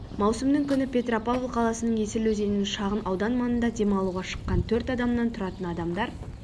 маусымның күні петропавл қаласының есіл өзенінің шағын аудан маңында дем алуға шыққан төрт адамнан тұратын адамдар